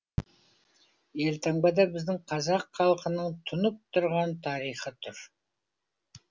елтаңбада біздің қазақ халқының тұнып тұрған тарихы тұр